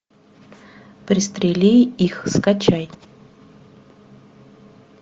пристрели их скачай